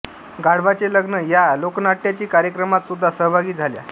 गाढवाचे लग्न या लोकनाट्याचे कार्यक्रमात सुद्धा सहभागी झाल्या